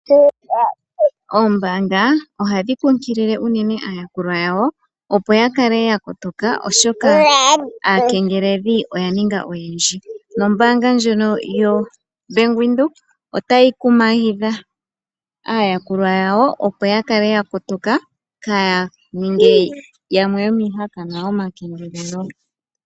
Oombanga ohadhi kunkilile unene aayakulwa yawo opo yakale ya kotoka oshoka aakengeleli oya ninga oyendji. Nombaanga ndjono yoBank Windhoek otayi kumagidha aayakulwa yawo opo yakale yakotoka kaa yaninge yamwe yomii hakanwa yo makengelelo.